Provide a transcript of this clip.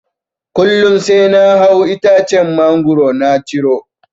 Kullum sai na hau itacen mangoro na ciro.